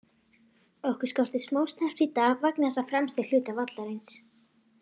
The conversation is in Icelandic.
Okkur skorti smá snerpu í dag vegna þess á fremsta hluta vallarins.